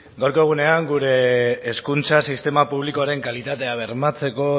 gaurko egunean gure hezkuntza sistema publikoaren kalitatea bermatzeko